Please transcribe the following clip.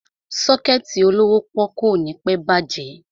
Sọ́kẹ̀tì olówó pọ́ọ́kú ò ní pẹ́ bàjẹ́.